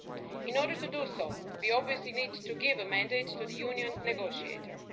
In order to do so, we obviously need to give a mandate to the Union negotiator.